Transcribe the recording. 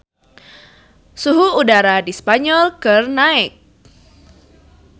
Suhu udara di Spanyol keur naek